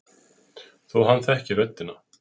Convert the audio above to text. Þó að hann þekki röddina.